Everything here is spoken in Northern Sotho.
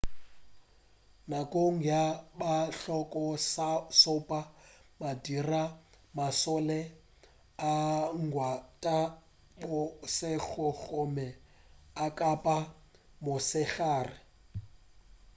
nakong ya bahloka-šope madira a mašole a gwanta bošego gomme a kampa mosegare